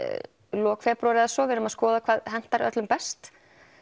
lok febrúar eða svo við erum að skoða hvað hentar öllum best